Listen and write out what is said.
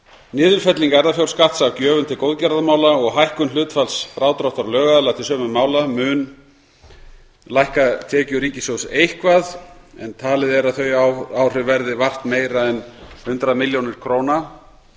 niðurfelling erfðafjárskatts af gjöfum til góðgerðarmála og hækkun hlutfalls frádráttar lögaðila til sömu mála mun lækka tekjur ríkissjóðs eitthvað en talið er að þau áhrif verði vart meira en hundrað milljónir króna